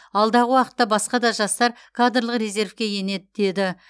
алдағы уақытта басқа да жастар кадрлық резервке енеді деді